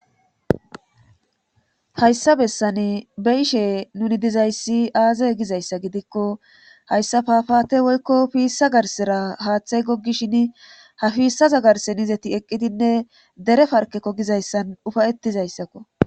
Hayssa bessan beyishe nuni dizayssi aazay gizayssa gidikko hayssa fafaate woykko piissa garsera haaththay goggishin ha fiissaza garsenizeti eqqidinne dere parkekko gizayssan ufayettizayssakko.